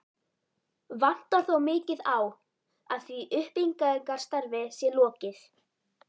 Vantar þó mikið á, að því uppbyggingarstarfi sé lokið.